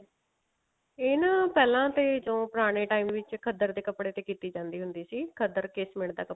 ਇਹ ਨਾ ਪਹਿਲਾਂ ਤੇ ਜੋ ਪੂਰਨੇ time ਵਿੱਚ ਖੱਦਰ ਦੇ ਕੱਪੜੇ ਤੇ ਕੀਤੀ ਜਾਂਦੀ ਹੁੰਦੀ ਸੀ ਖੱਦਰ ceasement ਦਾ ਕੱਪੜਾ